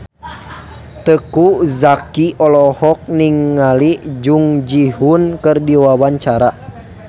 Teuku Zacky olohok ningali Jung Ji Hoon keur diwawancara